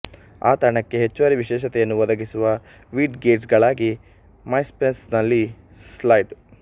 ಆ ತಾಣಕ್ಕೆ ಹೆಚ್ಚುವರಿ ವಿಶೇಷತೆಯನ್ನು ಒದಗಿಸುವ ವಿಡ್ ಗೆಟ್ಸ್ ಗಳಾಗಿ ಮೈಸ್ಪೇಸ್ ನಲ್ಲಿ ಸ್ಲೈಡ್